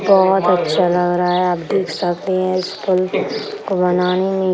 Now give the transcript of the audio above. बहोत अच्छा लग रहा है। आप देख सकते है इस पूल को को बनाने में --